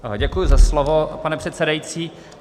Děkuji za slovo, pane předsedající.